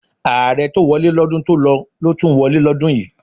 Ààrẹ tó wọlé lọ́dún tó lọ ló tún wọlé lọ́dún yìí.